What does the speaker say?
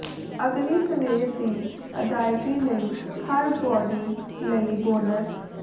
ਅਗਲੀ ਸਵੇਰ ਦੀ ਅਦਾਇਗੀ ਲਈ ਹਰ ਬਾਡੀ ਲਈ ਬੋਨਸ